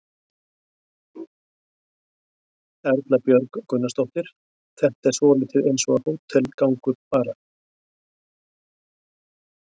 Erla Björg Gunnarsdóttir: Þetta er svolítið eins og hótelgangur bara?